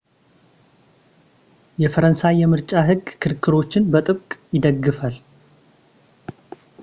የፈረንሣይ የምርጫ ሕግ ክርክሮችን በጥብቅ ይደግፋል